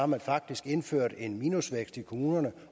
man faktisk indført en minusvækst i kommunerne